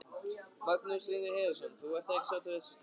Magnús Hlynur Hreiðarsson: Þú ert ekki sáttur við þessa stöðu?